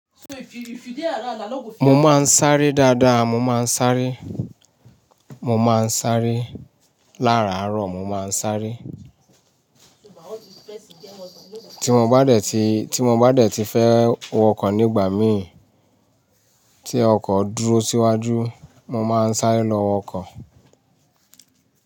Mo máa ń sáré dáadáa, mo máa ń sáré. Mo máa ń sáré lá'aárọ̀, mo máa ń sáré. Tí mo bá dẹ̀ ti fẹ́ wọ ọkọ̀ nígbà mi tí ọkọ̀ dúró síwájú, mo máa ń sáré lọ ọkọ̀